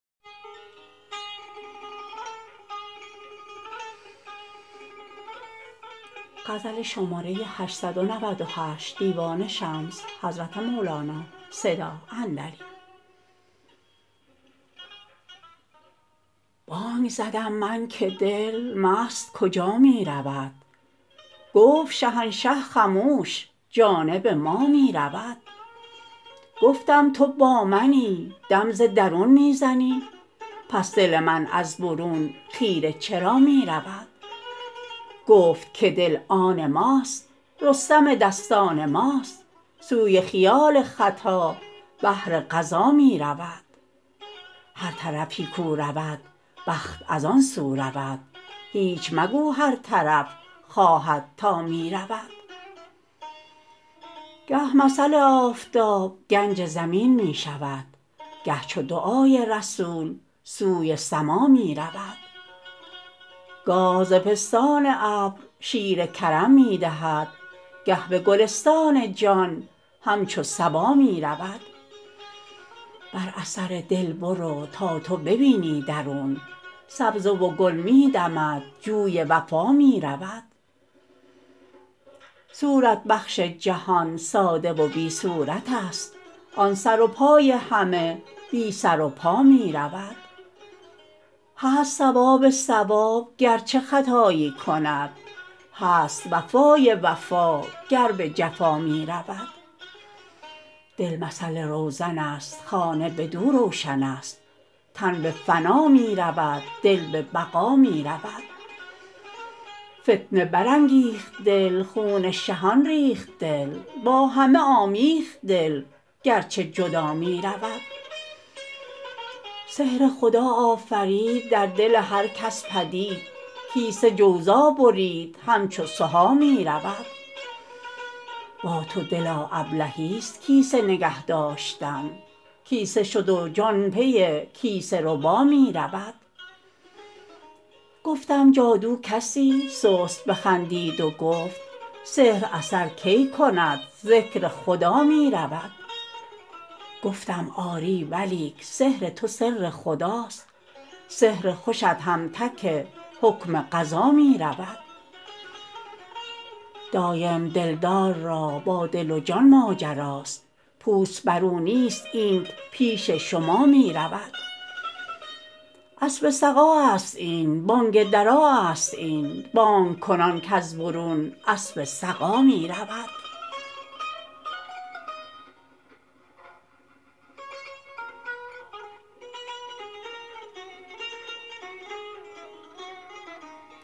بانگ زدم من که دل مست کجا می رود گفت شهنشه خموش جانب ما می رود گفتم تو با منی دم ز درون می زنی پس دل من از برون خیره چرا می رود گفت که دل آن ماست رستم دستان ماست سوی خیال خطا بهر غزا می رود هر طرفی کو رود بخت از آن سو رود هیچ مگو هر طرف خواهد تا می رود گه مثل آفتاب گنج زمین می شود گه چو دعای رسول سوی سما می رود گاه ز پستان ابر شیر کرم می دهد گه به گلستان جان همچو صبا می رود بر اثر دل برو تا تو ببینی درون سبزه و گل می دمد جوی وفا می رود صورت بخش جهان ساده و بی صورت ست آن سر و پای همه بی سر و پا می رود هست صواب صواب گر چه خطایی کند هست وفای وفا گر به جفا می رود دل مثل روزن ست خانه بدو روشن ست تن به فنا می رود دل به بقا می رود فتنه برانگیخت دل خون شهان ریخت دل با همه آمیخت دل گر چه جدا می رود سحر خدا آفرید در دل هر کس پدید کیسه جوزا برید همچو سها می رود با تو دلا ابلهی ست کیسه نگه داشتن کیسه شد و جان پی کیسه ربا می رود گفتم جادو کسی سست بخندید و گفت سحر اثر کی کند ذکر خدا می رود گفتم آری ولیک سحر تو سر خداست سحر خوشت هم تک حکم قضا می رود دایم دلدار را با دل و جان ماجراست پوست بر او نیست اینک پیش شما می رود اسب سقا است این بانگ درا است این بانگ کنان کز برون اسب سقا می رود